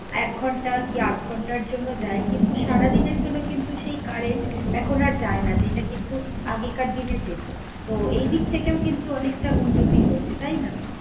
এক ঘন্টা কি আধঘন্টার জন্য যায় কিন্তু সারাদিনের জন্য কিন্তু সেই current এখন আর যায় না, যেটা কিন্তু আগেকার দিনে যেত। তো, এই দিক থেকেও কিন্তু অনেকটা উন্নতি হয়েছে তাই না?